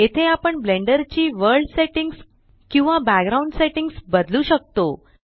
येथे आपण ब्लेंडर ची वर्ल्ड सेट्टिंग्स किंवा बॅकग्राउंड सेट्टिंग्स बदलू शकतो